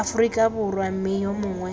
aforika borwa mme yo mongwe